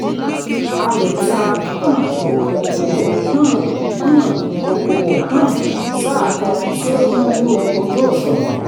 a lè ta um okòwò um um okòwò um sáà kan tí ó kúnjú ojú-òṣùwọ̀n.